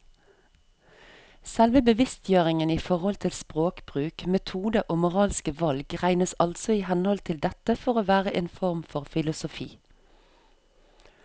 Selve bevisstgjøringen i forhold til språkbruk, metode og moralske valg regnes altså i henhold til dette for å være en form for filosofi.